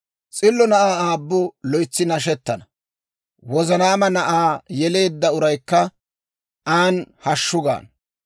S'illo na'aa aabbu loytsi nashettana; wozanaama na'aa yeleedda uraykka an hashshu gaana.